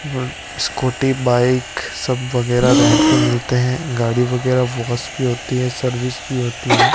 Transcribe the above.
ब scooty bike सब वगैरह रेंट पर मिलते हैं गाड़ी वगैरह वॉश भी होती हैं सर्विस भी होती हैं।